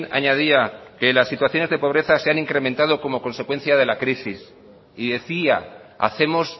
añadía que la situaciones de pobreza se han incrementado como consecuencia de la crisis y decía hacemos